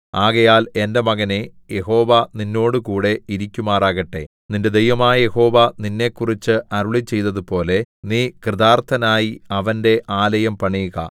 ആകയാൽ എന്റെ മകനേ യഹോവ നിന്നോടുകൂടെ ഇരിക്കുമാറാകട്ടെ നിന്റെ ദൈവമായ യഹോവ നിന്നെക്കുറിച്ച് അരുളിച്ചെയ്തതുപോലെ നീ കൃതാൎത്ഥനായി അവന്റെ ആലയം പണിയുക